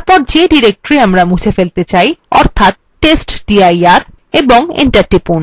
এবং যে directory আমরা মুছে ফেলতে চাই অর্থাৎ testdir এবং enter টিপুন